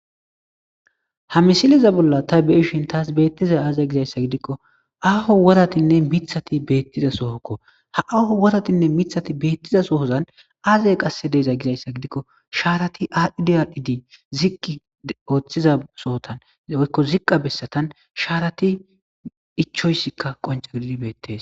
Ha misiliza bolla ta beshin taas beettiza aaze gizayssa gidikko aaho woratinne mithati beettiza sohokko ha aaho woratinne mithati beettiza sohozan aazey qasse deeza gizayssa gidikko shaarati audiadhidi ziki ooththiza sohotan eoykko ziqqa bessatan shaarati ichoyssikka qoncagidi beettes.